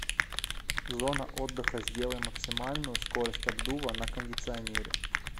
зона отдыха сделай максимальную скорость обдува на кондиционере